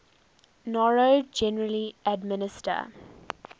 noro generally administer